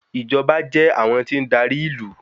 Ìjọba jẹ́ àwọn tí ń darí ìlú.